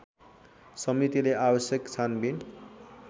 समितिले आवश्यक छानबिन